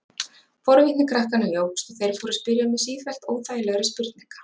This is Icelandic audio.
Forvitni krakkanna jókst og þeir fóru að spyrja mig sífellt óþægilegri spurninga.